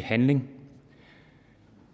handling